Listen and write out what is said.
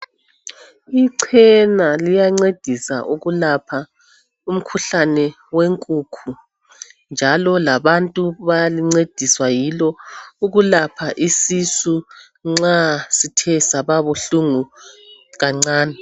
Ichena liyancedisa ukulapha umkhuhlane wenkukhu njalo labantu bayancediswa yilo ukulapha isisu nxa sithe saba buhlungu kancane.